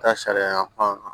Taa sariya fan